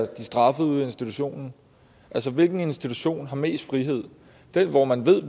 de straffet i institutionen hvilken institution har mest frihed den hvor man ved